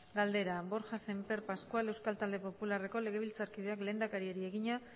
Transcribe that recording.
galdera borja sémper pascual euskal talde popularreko legebiltzarkideak lehendakariari egina